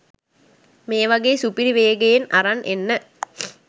මේවගේම සුපිරි වේගයෙන් අරන් එන්න